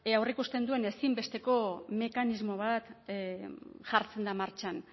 ea aurreikusten duen ezinbesteko mekanismo bat jartzen da martxan